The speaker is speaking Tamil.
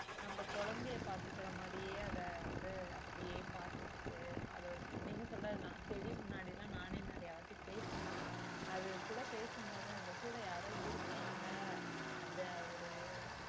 நம்ம குழந்தையை பார்த்துக்கிற மாதிரியே அதை வந்து அப்படியே பார்த்துக்கிட்டு அதோட நீங்க சொல்றது தான் செடி முன்னாடிலாம் நானே நிறைய வாட்டி பேசியிருக்கேன் அது கூட பேசும்போது நம்ம கூட யாரோ இருக்காங்க அந்த ஒரு